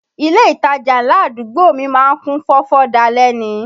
Ilé ìtajà ńlá àdúgbò mi má ń kún fọ́fọ́ dalẹ́ ni